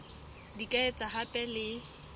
di ka etswa hape le